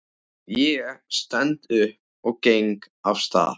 Ég stend upp og geng af stað.